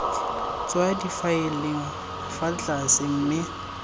tswa difaeleng fa tlase mme